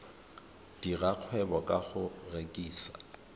dira kgwebo ka go rekisa